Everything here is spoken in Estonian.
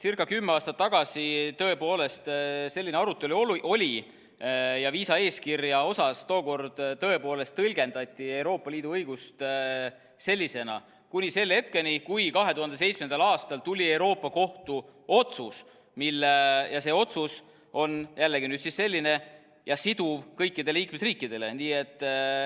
Umbes kümme aastat tagasi tõepoolest selline arutelu oli ja viisaeeskirja osas tookord tõepoolest tõlgendati Euroopa Liidu õigust sellisena, kuni selle hetkeni, kui 2017. aastal tuli Euroopa Kohtu otsus ja see otsus on jällegi nüüd selline ja siduv kõikidele liikmesriikidele.